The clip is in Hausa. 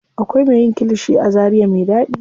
Akwai me yin kilishi a zaria me ɗaɗi.